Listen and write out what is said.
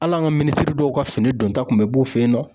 Hali an ka minisiri dɔw ka fini don ta kun bɛ b'o fɛ yen nɔ.